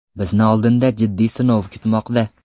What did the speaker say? Bizni oldinda jiddiy sinov kutmoqda.